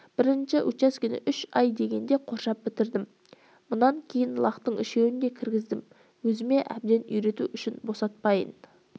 бірінші учаскені үш ай дегенде қоршап бітірдім мұнан кейін лақтың үшеуін де кіргіздім өзіме әбден үйрету үшін босатпайын